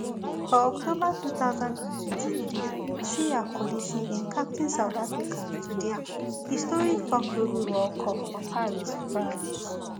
for october two thousand and twenty-three siya kolisi bin captain south africa to dia historic fourth rugby world cup for paris france